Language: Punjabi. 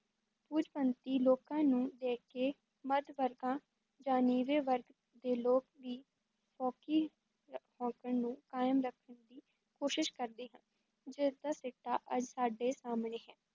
ਪੂੰਜੀਪਤੀ ਲੋਕਾਂ ਨੂੰ ਵੇਖ ਕੇ ਮੱਧ-ਵਰਗਾਂ ਜਾਂ ਨੀਵੇਂ ਵਰਗ ਦੇ ਲੋਕ ਵੀ ਫੋਕੀ ਹੈਂਕੜ ਨੂੰ ਕਾਇਮ ਰੱਖਣ ਦੀ ਕੋਸ਼ਸ਼ ਕਰਦੇ ਹਨ, ਜਿਸ ਦਾ ਸਿੱਟਾ ਅੱਜ ਸਾਡੇ ਸਾਹਮਣੇ ਹੈ,